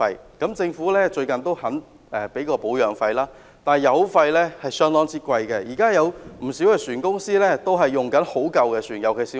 最近政府願意支付保養費，但油費相當昂貴，不少船公司仍在使用很殘舊的船。